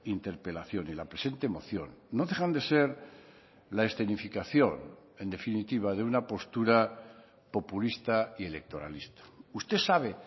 interpelación y la presente moción no dejan de ser la escenificación en definitiva de una postura populista y electoralista usted sabe